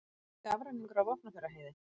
Skafrenningur á Vopnafjarðarheiði